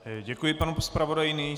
Děkuji panu zpravodaji.